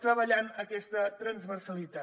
treballant aquesta transversalitat